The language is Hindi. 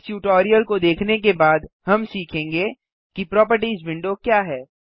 इस ट्यूटोरियल को देखने के बाद हम सीखेंगे कि प्रोपर्टिज विंडो क्या है